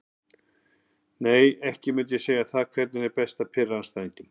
Nei myndi ekki segja það Hvernig er best að pirra andstæðinginn?